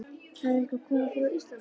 Hafði eitthvað komið fyrir á Íslandi?